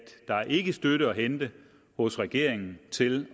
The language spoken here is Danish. der ikke er støtte at hente hos regeringen til